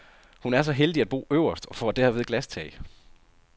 Hun er så heldig at bo øverst og får derved glastag.